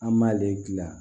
An m'ale gilan